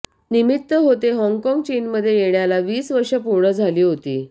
निमित्त होते हॉंगकॉंग चीनमध्ये येण्याला वीस वर्षे पूर्ण झाली होती